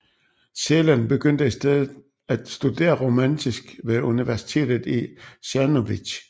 Celan begyndte i stedet at studere romanistik ved universitetet i Czernowitz